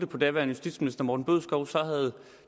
på daværende justitsminister herre morten bødskov så havde